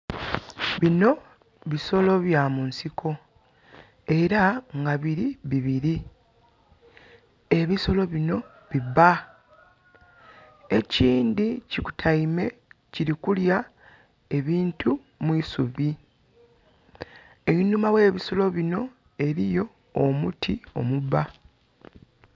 Bino bisolo byamunsiko. era nga biri bibiri ebisolo bino bibba ekindhi kikutaime kirikulya ebintu mu'subi einhuma ghebisolo bino eriyo omuti omubba.